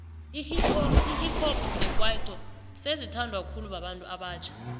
ihip hop nekwaito sezi thandwa khulu babantu abatjha